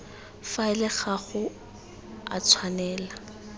faele ga go a tshwanela